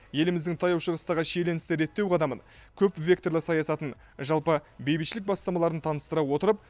еліміздің таяу шығыстағы шиеленісті реттеу қадамын көпвекторлы саясатын жалпы бейбітшілік бастамаларын таныстыра отырып